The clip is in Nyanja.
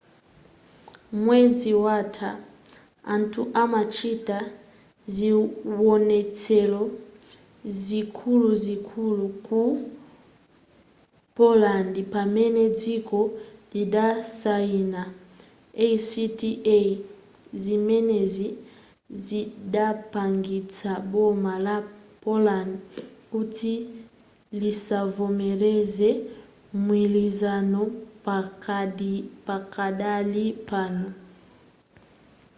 mwezi watha anthu amachita ziwonetselo zikuluzikulu ku poland pamene dziko lidasayina acta zimenezi zidapangitsa boma la poland kuti lisavomereze mgwilizano pakadali pano